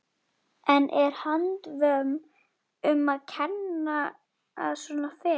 En er handvömm um að kenna að svona fer?